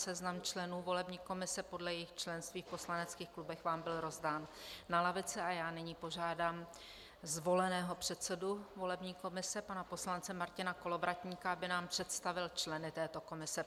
Seznam členů volební komise podle jejich členství v poslaneckých klubech vám byl rozdán na lavice a já nyní požádám zvoleného předsedu volební komise pana poslance Martina Kolovratníka, aby nám představil členy této komise.